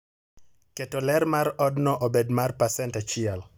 keto ler mar odno obed mar pasent achiel